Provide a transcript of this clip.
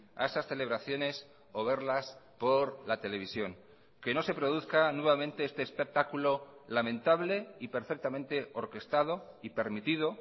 a esas celebraciones o verlas por la televisión que no se produzca nuevamente este espectáculo lamentable y perfectamente orquestado y permitido